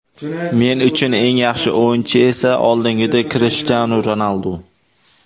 Men uchun eng yaxshi o‘yinchi esa oldingidek Krishtianu Ronaldu.